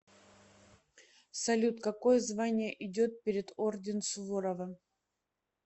салют какое звание идет перед орден суворова